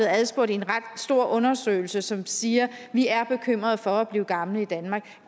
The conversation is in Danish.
adspurgt i en ret stor undersøgelse som siger vi er bekymrede for at blive gamle i danmark